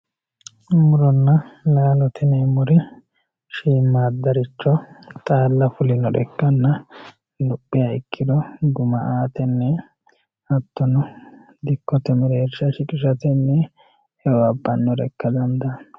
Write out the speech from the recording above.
muronna laalote yineemmori shiimmaaddaricho xaala fulinoricho ikkanna lophiha ikkiro guma aatenni hattono dikkote mereersha shiqishatenni e"o abbannore ikka dandaanno